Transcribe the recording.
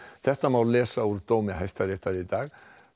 þetta má lesa úr dómi Hæstaréttar í dag